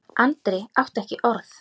Andri átti ekki orð.